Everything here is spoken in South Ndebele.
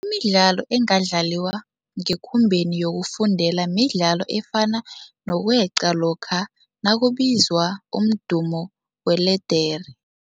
Imidlalo engadlaliwa ngekumbeni yokufundela midlalo efana nokweqa lokha nakubizwa umdumo weledere.